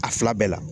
A fila bɛɛ la